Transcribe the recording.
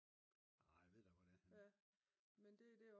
Jeg ved da hvor det er henne